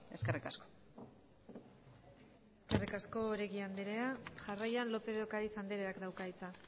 eskerrik asko eskerrik asko oregi andrea jarraian lópez de ocariz andreak dauka hitza